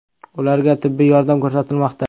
Ularga tibbiy yordam ko‘rsatilmoqda.